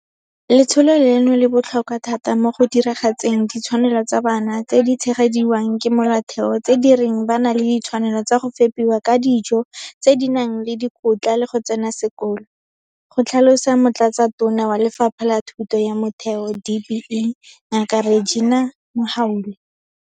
Letsholo leno le botlhokwa thata mo go diragatseng ditshwanelo tsa bana tse di tshegediwang ke Molaotheo tse di reng ba na le ditshwanelo tsa go fepiwa ka dijo tse di nang le dikotla le go tsena sekolo, go tlhalosa Motlatsatona wa Lefapha la Thuto ya Motheo, DBE, Ngaka Reginah Mhaule.